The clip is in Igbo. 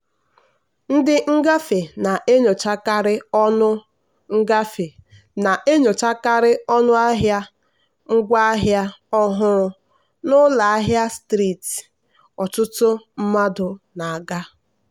ndị ngafe na-enyochakarị ọnụ ngafe na-enyochakarị ọnụ ahịa ngwaahịa ọhụrụ n'ụlọ ahịa striiti ọtụtụ mmadụ na-aga.